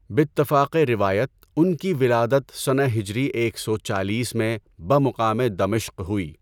باتفاقِ روایت ان کی ولادت سنہ ہجری ایک سو چالیس میں بمقامِ دمشق ہوئی۔